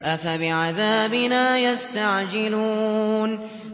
أَفَبِعَذَابِنَا يَسْتَعْجِلُونَ